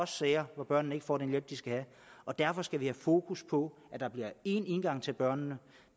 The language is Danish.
sager hvor børnene ikke får den hjælp de skal have og derfor skal vi have fokus på at der bliver én indgang til børnene